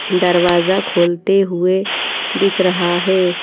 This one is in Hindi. दरवाज़ा खोलते हुए दिख रहा है।